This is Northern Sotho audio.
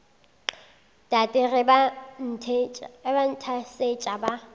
tate ge ba nthasetša ba